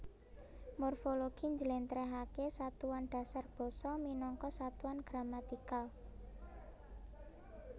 Morfologi njlentrehake satuan dasar basa minangka satuan gramatikal